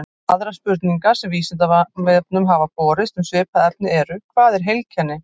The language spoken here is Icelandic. Aðrar spurningar sem Vísindavefnum hafa borist um svipað efni eru: Hvað er heilkenni?